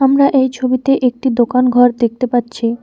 আমরা এই ছবিতে একটি দোকান ঘর দেখতে পাচ্ছি।